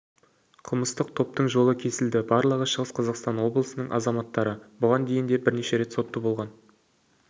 қылмыстық топтың жолы кесілді барлығы шығыс қазақстан облысының азаматтары бұған дейін де бірнеше рет сотты болған